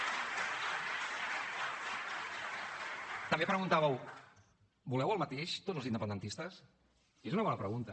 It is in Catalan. també preguntàveu voleu el mateix tots els independentistes i és una bona pregunta